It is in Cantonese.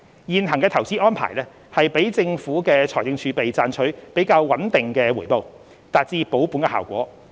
現行投資安排讓政府的財政儲備賺取較穩定的回報，達至保本的效果。